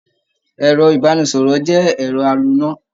Ẹ̀rọ ìbánisọ̀rọ̀ jẹ́ ẹ̀rọ aloná.